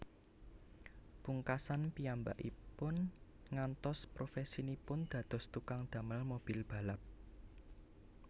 Pungkasan piyambakipun nggantos profèsinipun dados tukang damel mobil balap